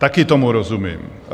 Taky tomu rozumím.